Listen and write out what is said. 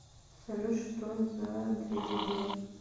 салют что за дребедень